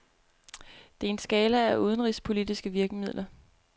Der er en skala af udenrigspolitiske virkemidler.